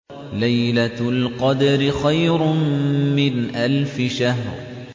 لَيْلَةُ الْقَدْرِ خَيْرٌ مِّنْ أَلْفِ شَهْرٍ